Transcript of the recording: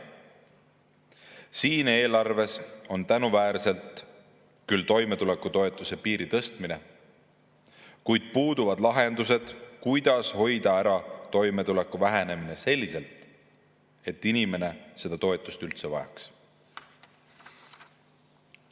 Siin eelarves on tänuväärselt sees küll toimetulekutoetuse tõstmine, kuid puuduvad lahendused, kuidas toimetuleku hoida ära selliselt, et inimene seda toetust üldse ei vajaks.